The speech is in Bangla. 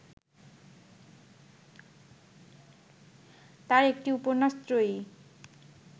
তাঁর একটি উপন্যাস ত্রয়ী